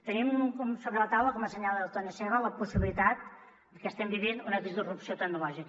tenim sobre la taula com assenyala el tony seba la possibilitat que estem vivint una disrupció tecnològica